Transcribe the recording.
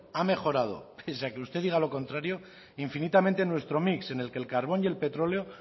ha mejorado pese a que usted diga lo contrario infinitamente nuestro mix en el que el carbón y el petróleo